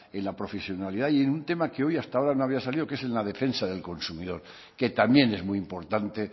en la profesionalidad y en un tema que hoy hasta ahora no había salido que es la defensa del consumidor que también es muy importante